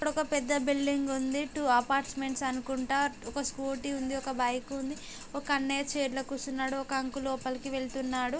ఇక్కడ ఒక పెద్ద బిల్డింగ్ ఉంది టు అపార్ట్మెంట్స్ అనుకుంటా ఒక స్కూటీ ఉంది ఒక బైక్ ఉంది ఒక అన్నయ్య చైర్ లో కూర్చున్నాడు ఒక అంకుల్ లోపలికి వెళ్తున్నాడు.